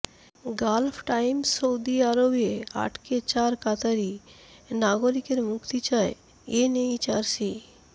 Gulf Times Saudi আরবে আটক চার কাতারি নাগরিকের মুক্তি চায় এনএইচআরসি